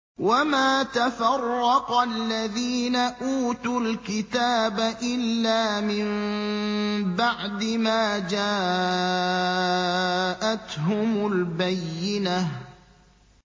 وَمَا تَفَرَّقَ الَّذِينَ أُوتُوا الْكِتَابَ إِلَّا مِن بَعْدِ مَا جَاءَتْهُمُ الْبَيِّنَةُ